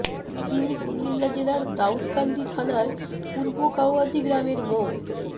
তিনি কুমিল্লা জেলার দাউদকান্দি থানার পূর্ব কাউয়াদী গ্রামের মো